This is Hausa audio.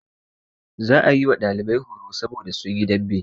Za a yi wa ɗalibai horo saboda sun yi dambe.